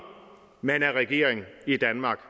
man er regering i danmark